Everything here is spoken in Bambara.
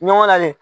Ɲɔgɔn na le